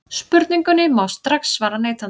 Spurningunni má strax svara neitandi.